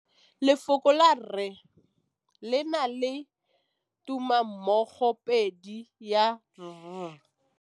Lefoko la rre, le na le tumammogôpedi ya, r.